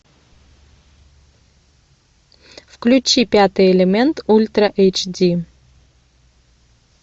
включи пятый элемент ультра эйч ди